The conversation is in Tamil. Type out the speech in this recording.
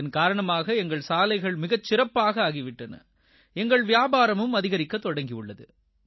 இதன் காரணமாக எங்கள் சாலைகள் மிகச் சிறப்பாக ஆகி விட்டன எங்கள் வியாபாரம் அதிகரிக்கத் தொடங்கியுள்ளது